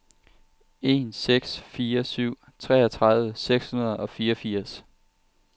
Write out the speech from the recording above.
en seks fire syv treogtredive seks hundrede og fireogfirs